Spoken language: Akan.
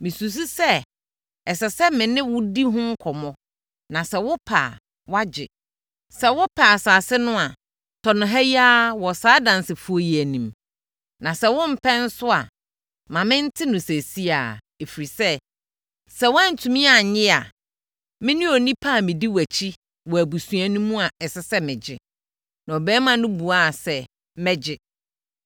Mesusu sɛ, ɛsɛ sɛ, me ne wo di ho nkɔmmɔ na sɛ wopɛ a, woagye. Sɛ wopɛ asase no a, tɔ no ha yi ara wɔ saa adansefoɔ yi anim. Na sɛ wompɛ nso a, ma mente no seesei ara, ɛfiri sɛ, sɛ woantumi annye a, me ne onipa a medi wʼakyi wɔ abusua no mu a ɛsɛ sɛ megye.” Na ɔbarima no buaa sɛ, “Mɛgye.”